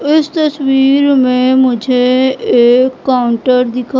इस तस्वीर में मुझे एक काउंटर दिखा--